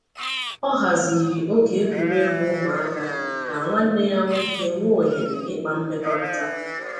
Ọ haziri oge egwuregwu ụmụaka ka nwanne ya nwoke nwee ohere ịkpa mmekọrịta.